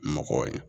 Mɔgɔw ye